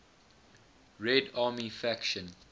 red army faction